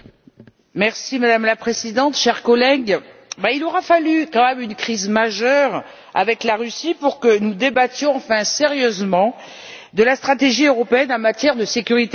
Madame la Présidente, chers collègues, il aura fallu une crise majeure avec la Russie pour que nous débattions enfin sérieusement de la stratégie européenne en matière de sécurité énergétique.